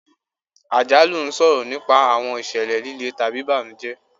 Àjálù ń sọ̀rọ̀ nípa àwọn ìṣẹ̀lẹ̀ le tàbí ìbànújẹ́.